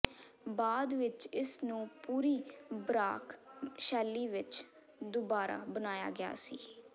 ਬਾਅਦ ਵਿਚ ਇਸ ਨੂੰ ਪੂਰੀ ਬਰਾਕ ਸ਼ੈਲੀ ਵਿੱਚ ਦੁਬਾਰਾ ਬਣਾਇਆ ਗਿਆ ਸੀ